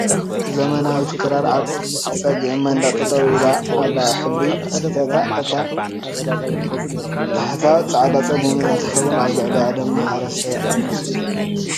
ዘመናዊት ክራር ኣብ ፀግዒ መንደቕ ጠጠው ኢላ ኣላ ሕብሪ ስርሓታ ኣብ ታሕታ ፃዕዳን ፀሊምን እንትትከውን ኣብ ላዕላ ድማ ሓሰረታይ ዓይነት እያ ።